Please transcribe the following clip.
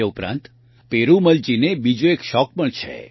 તે ઉપરાંત પેરૂમલજીને બીજો એક શોખ પણ છે